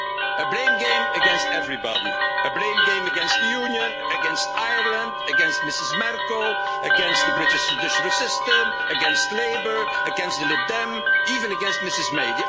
A blame game against everybody, a blame game against the Union, against Ireland, against Ms Merkel, against the British judiciary system, against Labour, against the Lib Dems, even against Mrs May.